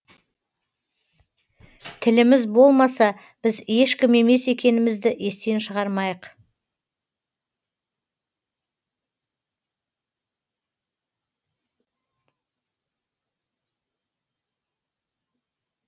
тіліміз болмаса біз ешкім емес екенімізді естен шығармайық